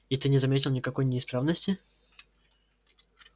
и ты не заметил никакой неисправности